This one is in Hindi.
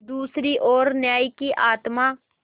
दूसरी ओर न्याय की आत्मा